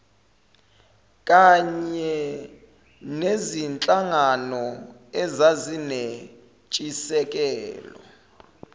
kany enezinhlangano ezazinentshisekelo